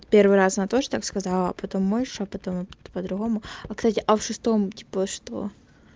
первый раз на тоже так сказала а потом можешь шёпотом а по-другому а кстати а в шестом типа что